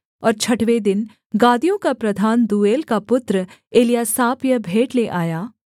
और छठवें दिन गादियों का प्रधान दूएल का पुत्र एल्यासाप यह भेंट ले आया